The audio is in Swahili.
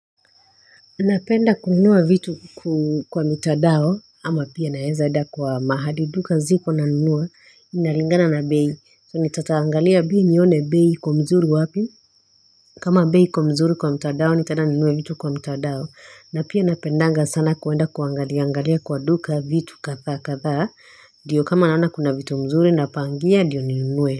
Napenda kununua vitu kwa mitadao ama pia naeza enda kwa mahali duka ziko na nunua inaringana na bei so nitataangalia bei nione bei iko mzuri wapi kama bei iko mzuri kwa mitadao nitaeda ninue vitu kwa mitadao na pia napendanga sana kuwenda kuangalia angalia kwa duka vitu katha katha diyo kama naona kuna vitu mzuru na pangia ndiyo ninue.